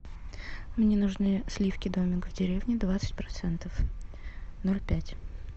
мне нужны сливки домик в деревне двадцать процентов ноль пять